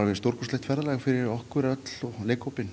stórkostlegt ferðalag fyrir okkur öll og leikhópinn